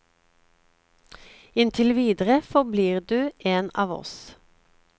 Inntil videre forblir du en av oss.